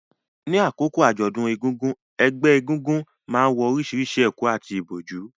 Ní àkókò àjọ̀dún egúngún, ẹgbẹ́ egúngún náà wọ orísìírísìí ẹ̀kú àti ìbòjú,